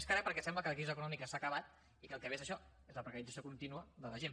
més que re perquè sembla que la crisi econòmica s’ha acabat i que el que ve és això és la precarització contínua de la gent